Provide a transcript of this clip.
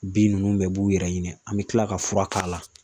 Bin ninnu bɛɛ b'u yɛrɛ ɲini an bɛ kila ka fura k'a la